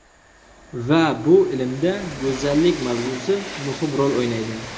Va bu ilmda go‘zallik mavzusi muhim rol o‘ynaydi.